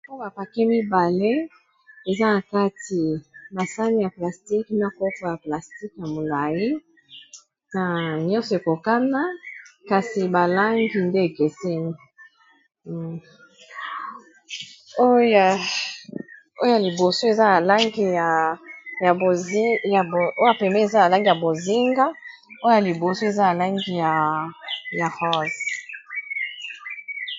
Ba oyo bapake mibale eza na kati basani ya plastique na kopo ya plastique ya molai nyonso ekokana kasi ba langi nde ekeseni. Oya pembeni eza ba langi ya bozinga oya liboso eza na langi ya rosse.